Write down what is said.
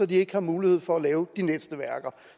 de ikke har mulighed for at lave de næste værker